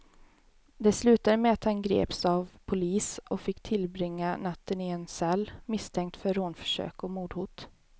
Det slutade med att han greps av polis och fick tillbringa natten i en cell, misstänkt för rånförsök och mordhot.